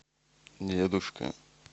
дедушка